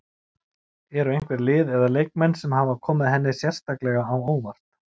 Eru einhver lið eða leikmenn sem hafa komið henni sérstaklega á óvart?